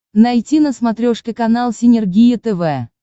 найти на смотрешке канал синергия тв